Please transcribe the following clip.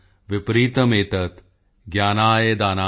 ਵਿਪਰੀਤਮ੍ ਏਤਤ੍ ਗਯਾਨਾਯ ਦਾਨਾਯ ਚ ਰਕਸ਼ਣਾਯ